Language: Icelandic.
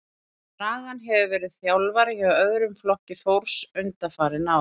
Dragan hefur verið þjálfari hjá öðrum flokki Þórs undanfarin ár.